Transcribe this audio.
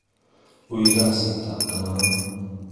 Ui kasit tab kamanon.